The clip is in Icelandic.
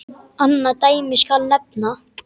Annað dæmi skal nefna.